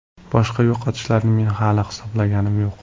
Boshqa yo‘qotishlarni men hali hisoblaganim yo‘q.